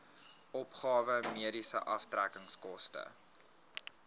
opgawe mediese aftrekkingskode